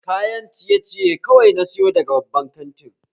Kayan ciye ciye kawai na sayo daga babban kantin